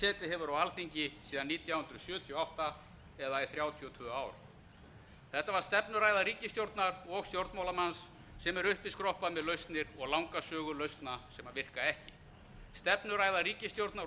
setið hefur á alþingi síðan nítján hundruð sjötíu og átta það er í þrjátíu og tvö ár þetta var stefnuræða ríkisstjórnar og stjórnmálamanns sem er uppiskroppa með lausnir og langa sögu lausna sem virka ekki stefnuræða ríkisstjórnar og